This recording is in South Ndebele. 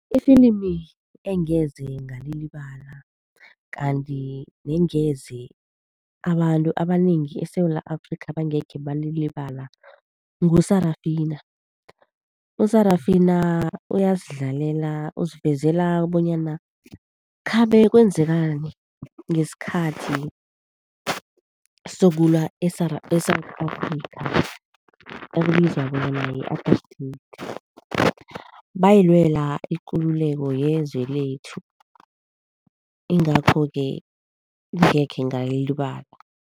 Ifilimi engeze ngalilibala kanti nengeze abantu abanengi eSewula Afrika bangekhe balilibala ngu-Sarafina. U-Sarafina uyasidlalela, usivezela bonyana khabe kwenzakani ngesikhathi sokulwa eSewula Afrika okubizwa bonyana yi-apartheid. Bayilwela ikululeko yenzwe lethu, ingakho-ke ngingekhe ngalilibala.